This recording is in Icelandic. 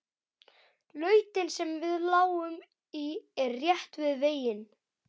Lautin sem við lágum í er rétt við veginn.